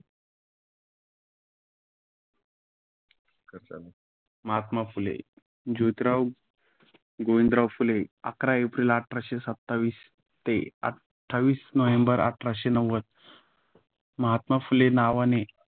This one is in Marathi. महात्मा फुले जोतीरा गोविंदराव फुले अकरा एप्रिल अठराशे सत्तावीस - आठविस नोव्हेंबर आठरसे नव्वद , महात्मा फुले नावाने